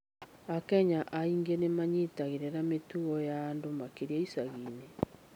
Akenya aingĩ nĩ manyitagĩrĩra mĩtuga ya andũ makĩria icagi-inĩ.